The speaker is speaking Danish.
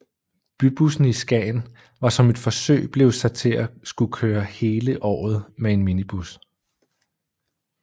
Bybussen i Skagen var som et forsøg blevet sat til at skulle kører hele året med en minibus